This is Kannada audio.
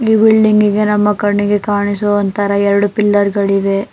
ಈ ಬಿಲ್ಡಿಂಗಿ ಗೆ ನಮ್ಮ ಕಣ್ಣಿಗೆ ಕಾಣಿಸುವ ತರಾ ಎರಡು ಪಿಲ್ಲರ್ ಗಳಿವೆ.